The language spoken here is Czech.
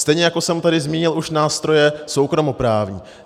Stejně jako jsem tady zmínil už nástroje soukromoprávní.